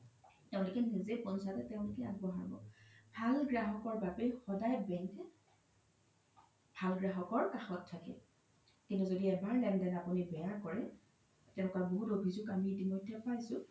তেওলোকে নিজে পঞ্চায়ত তেওলোকে আগবঢ়াব ভাল গ্ৰহকৰ বাবে সদায় bank কে ভাল গ্ৰহকৰ কাখত থাকে জ্দি এবাৰ লেন দেন আপোনি বেয়া কৰে তেনেকুৱা বহুত অভিজুগ আমি ইতিমইধে পাইছো